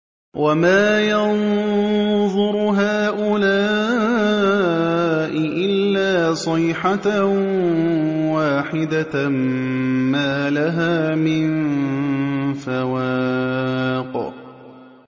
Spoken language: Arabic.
وَمَا يَنظُرُ هَٰؤُلَاءِ إِلَّا صَيْحَةً وَاحِدَةً مَّا لَهَا مِن فَوَاقٍ